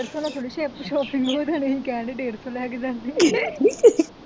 ਡੇਢ ਸੌ ਨਾ ਥੋੜ੍ਹਾ sale ਚ shopping ਹੋ ਜਾਣੀ ਅਸੀ ਕਹਿਣ ਦੇ ਡੇਢ ਸੌ ਲੈ ਕੇ ਜਾਣੇ